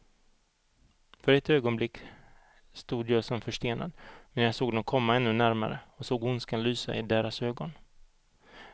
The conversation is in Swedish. För ett ögonblick stod jag som förstenad, medan jag såg dem komma ännu närmare och såg ondskan lysa i deras ögon.